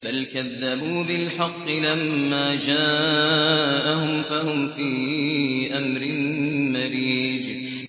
بَلْ كَذَّبُوا بِالْحَقِّ لَمَّا جَاءَهُمْ فَهُمْ فِي أَمْرٍ مَّرِيجٍ